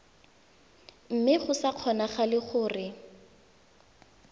mme go sa kgonagale gore